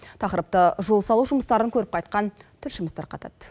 тақырыпты жол салу жұмыстарын көріп қайтқан тілшіміз тарқатады